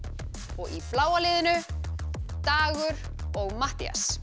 og í bláa liðinu Dagur og Matthías